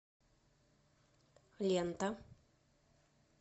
лента